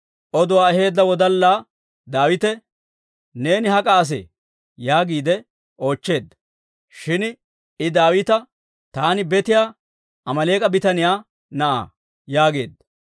Oduwaa aheedda wodallaa Daawite, «Neeni hak'a asee?» yaagiide oochcheedda. Shin I Daawita, «Taani betiyaa Amaaleek'a bitaniyaa na'aa» yaageedda.